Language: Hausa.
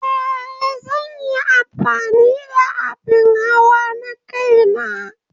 Ee, zan yi amfani da abin hawa na kaina.